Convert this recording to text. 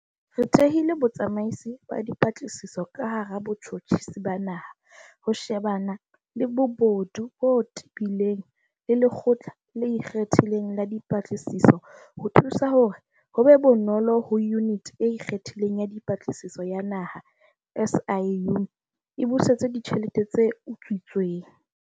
Re thehile Botsamaisi ba Dipatlisiso ka hara Botjhotjhisi ba Naha ho shebana le bobodu bo tebileng le Lekgotla le Ikgethileng la Dipatlisiso ho thusa hore ho be bonolo hore Yuniti e Ikgethileng ya Dipatlisiso ya Naha, SIU, e busetse ditjhelete tse utswitsweng.